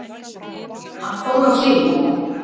Hann fór á hliðina, já!